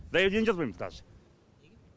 заявление жазбаймыз даже